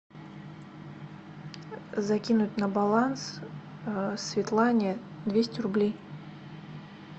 закинуть на баланс светлане двести рублей